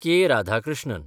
K. Radhakrishnan